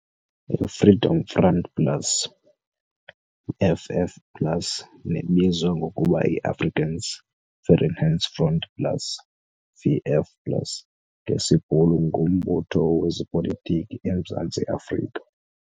I-Freedom Front Plus FF plus nebizwa ngokuba yi-Afrikaans Vryheidsfront Plus, VF plus ngesibhulu ngumbutho wezopolitiki eMzantsi Afrika.